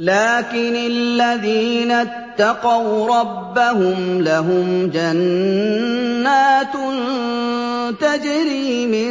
لَٰكِنِ الَّذِينَ اتَّقَوْا رَبَّهُمْ لَهُمْ جَنَّاتٌ تَجْرِي مِن